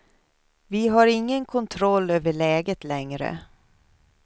Vi har ingen kontroll över läget längre.